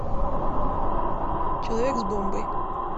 человек с бомбой